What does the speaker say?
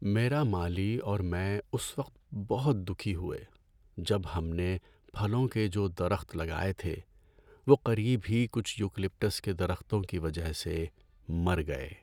میرا مالی اور میں اس وقت بہت دکھی ہوئے جب ہم نے پھلوں کے جو درخت لگائے تھے وہ قریب ہی کچھ یوکلپٹس کے درختوں کی وجہ سے مر گئے۔